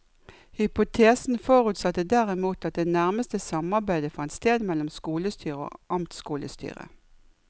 Hypotesen forutsatte derimot at det nærmeste samarbeidet fant sted mellom skolestyret og amtskolestyret.